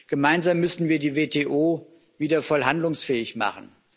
Gemeinsam müssen wir die WTO wieder voll handlungsfähig machen.